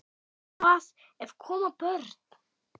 Sleikir það af.